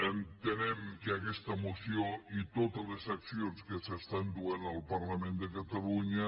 entenem que aquesta moció i totes les accions que s’estan duent al parlament de catalunya